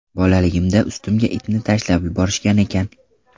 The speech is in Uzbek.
Bolaligimda ustimga itni tashlab yuborishgan ekan.